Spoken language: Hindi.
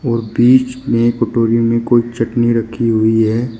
और बीच में कटोरी में कोई चटनी रखी हुई है।